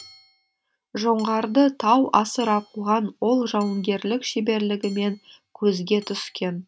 жоңғарды тау асыра қуған ол жауынгерлік шеберлігімен көзге түскен